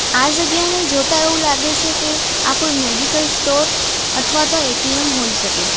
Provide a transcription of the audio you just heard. આ જગ્યાને જોતા એવું લાગે છે કે આ કોઈ મેડિકલ સ્ટોર અથવા તો એ_ટી_એમ હોઈ શકે.